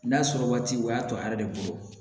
N'a sɔrɔ waati o y'a to a yɛrɛ de bolo